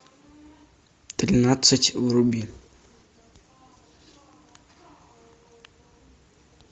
тринадцать вруби